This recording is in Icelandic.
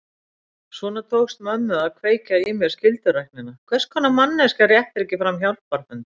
Svona tókst mömmu að kveikja í mér skylduræknina: Hvers konar manneskja réttir ekki fram hjálparhönd?